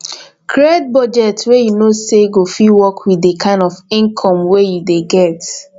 create budget wey you know say go fit work with the kind of income wey you dey get